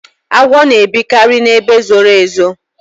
agwọ na ebikari na ebe zoro ezo